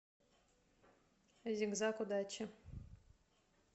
зиг заг удачи